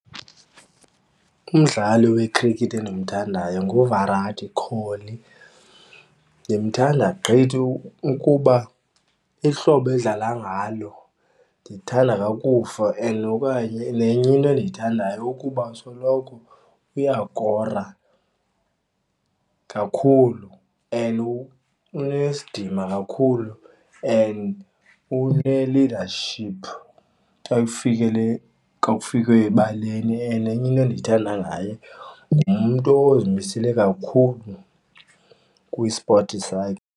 Umdlali wekhrikethi endimthandayo nguVirat Kohli. Ndimthanda gqithi ukuba ihlobo edlala ngalo ndithanda kakufa. And okanye nenye into endiyithandayo ukuba asoloko uyakora kakhulu, and unesidima kakhulu and une-leadership xa kufikele xa kufikwe ebaleni. And enye into endiyithanda ngaye ngumntu ozimisele kakhulu kwisipothi sakhe.